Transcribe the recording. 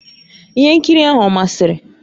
Ihe nkiri ahụ ọ masịrị?